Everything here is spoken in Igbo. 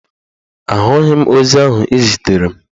Ahụghị m ozi ahụ ị ziteere m